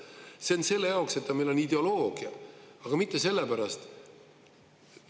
See on selle jaoks, et meil on ideoloogia, aga mitte sellepärast …